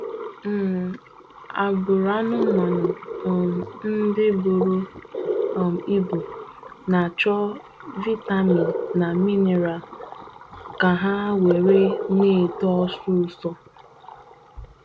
um Agbụrụ anụmanụ um ndị buru um ibu na achọ vitamin na mineral ka ha were na etọ ọsịsọ.